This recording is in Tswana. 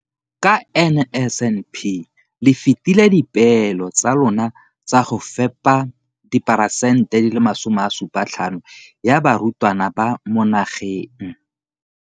Ka NSNP le fetile dipeelo tsa lona tsa go fepa masome a supa le botlhano a diperesente ya barutwana ba mo nageng.